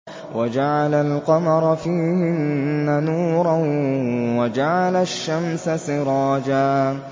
وَجَعَلَ الْقَمَرَ فِيهِنَّ نُورًا وَجَعَلَ الشَّمْسَ سِرَاجًا